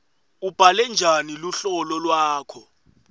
ubhale njani luhlolo lwakho